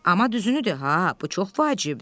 Amma düzünü de ha, bu çox vacibdir.